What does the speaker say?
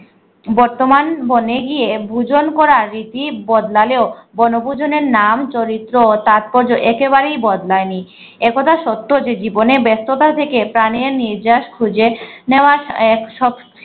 বতর্মান বনে গিয়ে ভূজন করার রীতি বদলেও বনভূজন নাম চরিত্র ও তাৎপর্য় একেবারেই বদলানি একদা সত্য যে জীবনে ব্যস্ত থেকে প্রাণে নিজস খুঁজে নেয়া সব